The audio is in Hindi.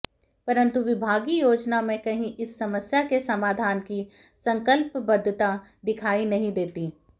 परंतु विभागीय योजना में कहीं इस समस्या के समाधान की संकल्पबद्धता दिखाई नहीं देती